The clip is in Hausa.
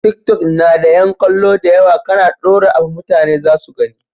Tiktok na da yan kallo dayawa kAna dora abu mutane zasu gani